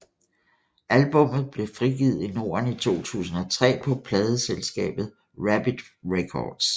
Albummet blev frigivet i norden i 2003 på pladeselskabet Rabid Records